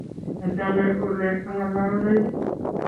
Machame ole angololdai